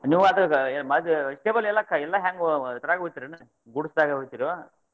ನೀವಾದ್ ಆದ್ vegetables ಎಲ್ಲಾ ಹೆಂಗ್ ಇದ್ರಾಗ ಒಯ್ಯ್ತಿರೆನ್ goods ದಾಗ ಒಯ್ಯ್ತಿರೋ?